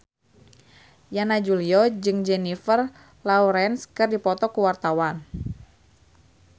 Yana Julio jeung Jennifer Lawrence keur dipoto ku wartawan